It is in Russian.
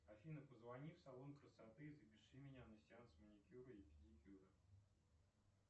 афина позвони в салон красоты и запиши меня на сеанс маникюра и педикюра